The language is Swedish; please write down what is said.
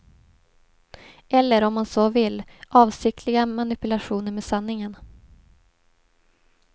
Eller, om man så vill, avsiktliga manipulationer med sanningen.